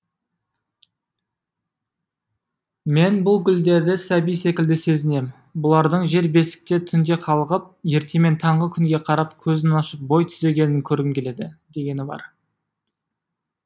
мен бұл гүлдерді сәби секілді сезінем бұлардың жер бесікте түнде қалғып ертемен таңғы күнге қарап көзін ашып бойтүзегенін көргім келеді дегені бар